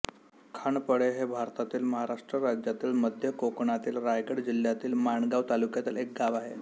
खांडपळे हे भारतातील महाराष्ट्र राज्यातील मध्य कोकणातील रायगड जिल्ह्यातील माणगाव तालुक्यातील एक गाव आहे